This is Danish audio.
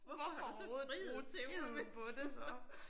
Hvorfor overhovedet bruge tiden på det så